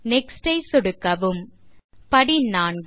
next ஐ சொடுக்கவும் படி 4